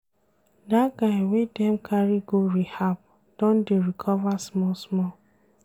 Dat guy wey dem carry go rehab don dey recover small-small.